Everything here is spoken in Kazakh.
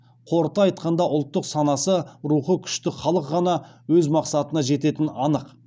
қорыта айтқанда ұлттық санасы рухы күшті халық қана өз мақсатына жететіні анық